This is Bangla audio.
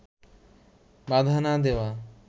বাধা না দেওয়া